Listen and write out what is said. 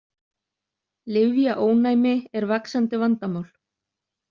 Lyfjaónæmi er vaxandi vandamál.